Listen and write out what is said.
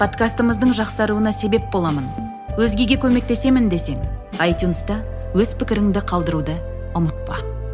подкастымыздың жақсаруына себеп боламын өзгеге көмектесемін десең айтюнста өз пікіріңді қалдыруды ұмытпа